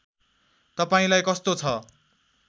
तपाईँलाई कस्तो छ